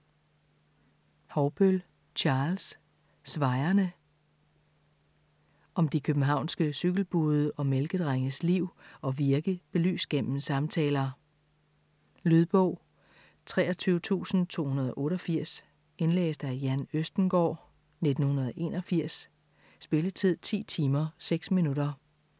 Haugbøll, Charles: Svajerne Om de københavnske cykelbude og mælkedrenges liv og virke belyst gennem samtaler. Lydbog 23288 Indlæst af Jan Østengaard, 1981. Spilletid: 10 timer, 6 minutter.